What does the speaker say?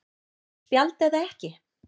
Rautt spjald eða ekki?